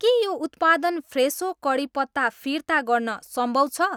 के यो उत्पादन फ्रेसो कढीपत्ता फिर्ता गर्न सम्भव छ?